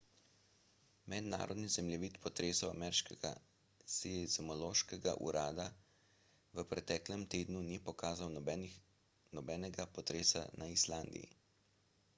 mednarodni zemljevid potresov ameriškega seizmološkega urada v preteklem tednu ni pokazal nobenega potresa na islandiji